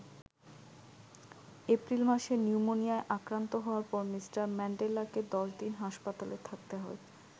April মাসে নিউমোনিয়ায় আক্রান্ত হওয়ার পর মিঃ ম্যান্ডেলাকে ১০ দিন হাসপাতালে থাকতে হয়।